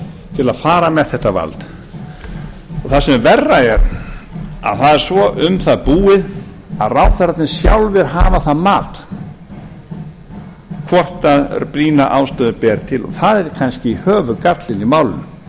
til að fara með þetta vald og það sem verra er það er svo um það búið að ráðherrarnir sjálfir hafa það mat hvort brýna ástæðu ber til og það er kannski höfuðgallinn í málinu